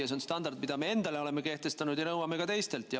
See on standard, mille me endale oleme kehtestanud ja mida nõuame ka teistelt.